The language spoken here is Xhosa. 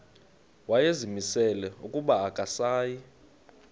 wayezimisele ukuba akasayi